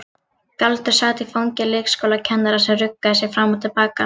Galdur sat í fangi leikskólakennarans sem ruggaði sér fram og til baka.